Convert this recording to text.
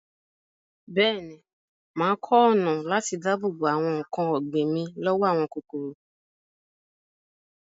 Bẹ́ẹ̀ni, mà á kọ́ ọ̀nà àti dáàbò bo àwọn nǹkan ọ̀gbìn mi lọ́wọ́ àwọn kòkòrò.